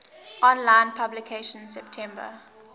online publication september